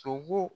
Sogo